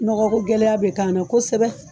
Nɔgɔko gɛlɛya bɛ ka'an na kosɛbɛ.